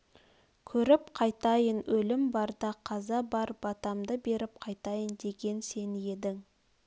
көріп қайтайын өлім бар да қаза бар батамды беріп қайтайын деген сен едің